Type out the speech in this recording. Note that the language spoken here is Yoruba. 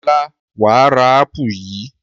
Ọlá wà á ra ápù yìí!